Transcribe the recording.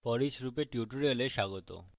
foreach লুপের tutorial স্বাগত